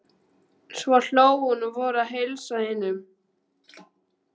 Svo hló hún og fór að heilsa hinum.